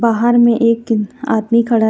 बाहर में एक आदमी खड़ा--